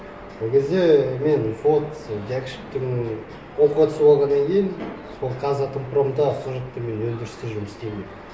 ол кезде мен жәкішевтің оқуға түсіп алғаннан кейін сол қазатомпромда сол жақта мен өндірісте жұмыс істеймін